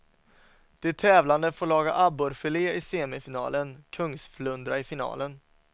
De tävlande får laga abborrfilé i semifinalen, kungsflundra i finalen.